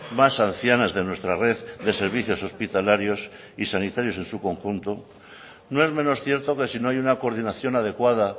más ancianas de nuestra red de servicios hospitalarios y sanitarios en su conjunto no es menos cierto que si no hay una coordinación adecuada